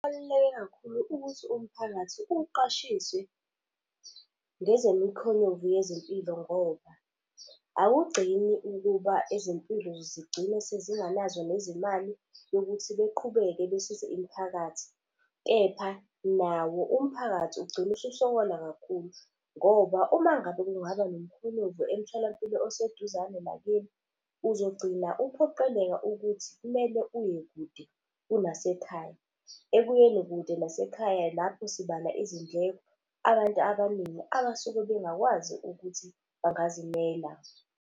Kubaluleke kakhulu ukuthi umphakathi uqashiswe ngezemikhonyovu yezempilo ngoba. Awugcini ukuba ezempilo zigcine sezinganazo nezimali yokuthi beqhubeke besize imiphakathi. Kepha nawo umphakathi ugcina ususokola kakhulu ngoba uma ngabe kungaba nomkhonyovu emtholampilo oseduzane nakini, uzogcina uphoqeleka ukuthi kumele uye kude kunasekhaya. Ekuyeni kude nasekhaya lapho sibala izindleko, abantu abaningi abasuke bengakwazi ukuthi bangazimela.